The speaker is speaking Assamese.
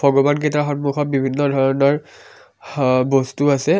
ভগৱান কেইটাৰ সন্মুখত বিভিন্ন ধৰণৰ হঅ বস্তু আছে আ।